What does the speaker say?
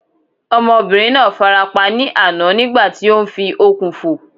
Ọmọbìnrin náà fara pa ní àná nígbà tí ó ń fi okùn fò